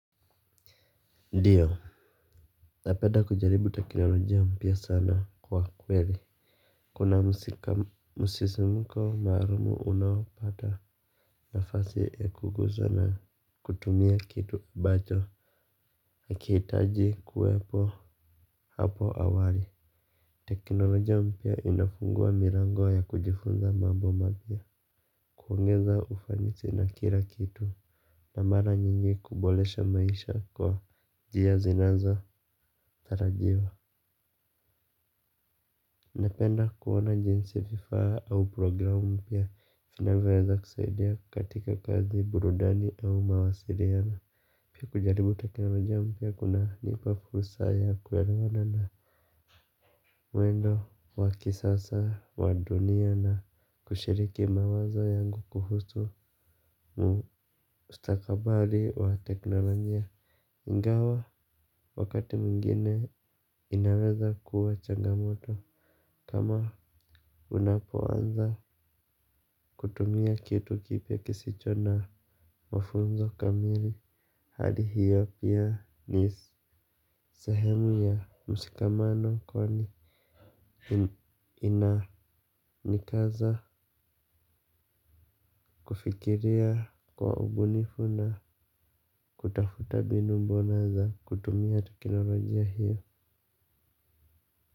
Ndiyo. Napenda kujaribu teknolojia mpya sana kwa kweli. Kuna msikam msisimuko maarumu unaopata nafasi ya kuguzana kutumia kitu ambacho hakihitaji kuwepo hapo awali. Teknolojia mpya inafungua milango ya kujifunza mambo mapya. Kuongeza ufanisi na kila kitu. Na mara nyingi kuboresha maisha kwa njia zinazotarajiwa napenda kuoana jinsi vifaa au programu mpya vinavyoweza kusaidia katika kazi burudani au mawasiliano. Pia kujaribu teknolojia mpya kunanipa fursa ya kuelewana na mwendo wa kisasa wa dunia na kushiriki mawazo yangu kuhusu ustakabali wa teknolojia. Ingawa wakati mwigine inaweza kuwa changamoto. Kama unapoanza kutumia kitu kipya kisicho na mafunzo kamili hali hiyo pia ni sehemu ya msikamano kwani ina nikaza kufikiria kwa ubunifu na kutafuta mbinu mbona za kutumia teknolojia hiyo.